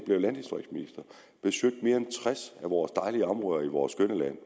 besøgt mere end tres af vores dejlige områder i vores skønne land